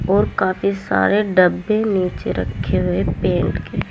और काफी सारे डब्बे नीचे रखे हुए पेंट के--